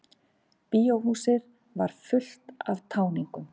Bíóhúsið var fullt af táningum.